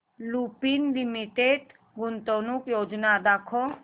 Lupin Limited गुंतवणूक योजना दाखव